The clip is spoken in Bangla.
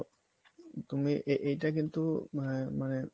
তুমি এইটা কিন্তু মানে মানে